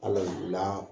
Hali